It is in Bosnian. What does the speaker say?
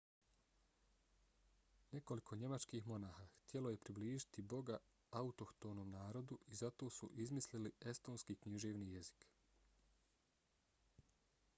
nekoliko njemačkih monasha htjelo je približiti boga autohtonom narodu i zato su izmislili estonski književni jezik